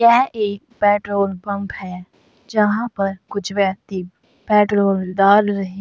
यह एक petrol pump है जहां पर कुछ व्यक्ति पेट्रोल डाल रहे --